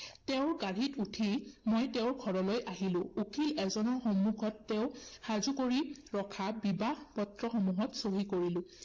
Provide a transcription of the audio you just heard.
তেওঁৰ গাড়ীত উঠি মই তেওঁৰ ঘৰলৈ আহিলো। উকীল এজনৰ সন্মুখত তেওঁ সাজু কৰি ৰখা বিবাহ পত্ৰসমূহত চহী কৰিলো।